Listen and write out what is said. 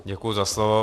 Děkuji za slovo.